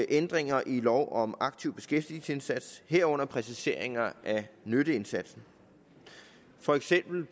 ændringer i lov om en aktiv beskæftigelsesindsats herunder præciseringer af nytteindsatsen for eksempel